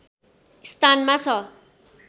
स्थानमा छ